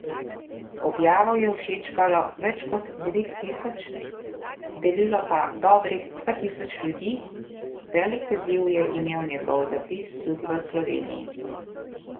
Objavo je všečkalo več kot devet tisoč, delilo pa dobrih dva tisoč ljudi, velik odziv je imel njegov zapis tudi v Sloveniji.